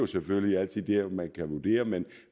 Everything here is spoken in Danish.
selvfølgelig altid noget man kan vurdere men